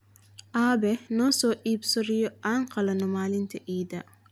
Aabe, noo soo iibso riyo aan qalanno maalinta idda